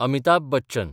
Amitabh Bachchan